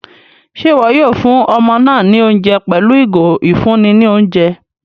Ṣe iwọ yóò fún ọmọ náà ní oúnjẹ pẹlu igo ifunni ní oúnjẹ?